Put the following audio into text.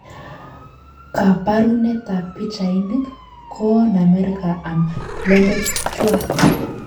Kabarunet ab pichainik, ko oon Amerika amu plembechuat